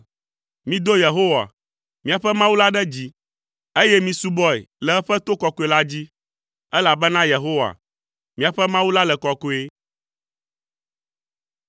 Mido Yehowa, miaƒe Mawu la ɖe dzi, eye misubɔe le eƒe to kɔkɔe la dzi, elabena Yehowa, míaƒe Mawu la le kɔkɔe.